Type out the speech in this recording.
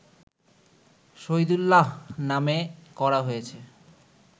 শহীদুল্লাহ্র নামে করা হয়েছে